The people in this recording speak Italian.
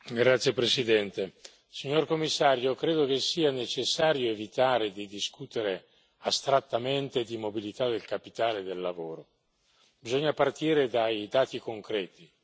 Signora Presidente, signor Commissario, onorevoli colleghi, credo che sia necessario evitare di discutere astrattamente di mobilità del capitale e del lavoro, bisogna partire dai dati concreti.